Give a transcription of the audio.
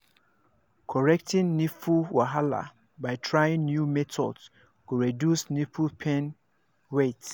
correcting nipple wahala by trying new method go reduce nipple pain wait